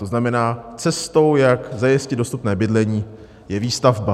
To znamená, cestou, jak zajistit dostupné bydlení, je výstavba.